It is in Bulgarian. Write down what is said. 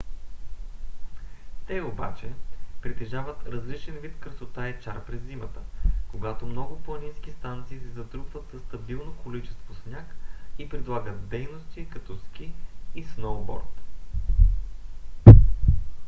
те обаче притежават различен вид красота и чар през зимата когато много планински станции се затрупват със стабилно количество сняг и предлагат дейности като ски и сноуборд